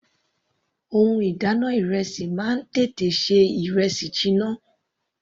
Ohun ìdáná ìrẹsì máa ń tètè ṣe ìrẹsì jiná.